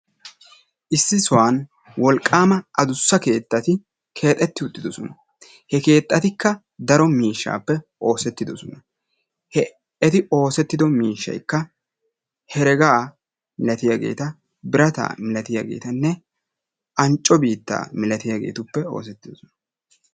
Issi sohuwan woqaama addussa keettati keexxeti uttidoosona. he oosetido miishshaykka herega milatiyaageeti, birata milaatiyaageeta, ancco biitta milaatiyaagetuppe oosetidoosona.